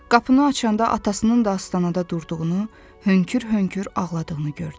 Qapını açanda atasının da astanada durduğunu, hönkür-hönkür ağladığını gördü.